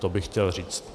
To bych chtěl říct.